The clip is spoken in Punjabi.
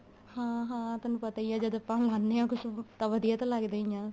ਹਾਂ ਹਾਂ ਤੈਨੂੰ ਪਤਾ ਈ ਏ ਜਦ ਆਪਾਂ ਮਾਗਾਨੇ ਆ ਕੁੱਝ ਵਧੀਆ ਤਾਂ ਲਗਦਾ ਈ ਏ